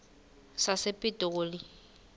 sasepitoli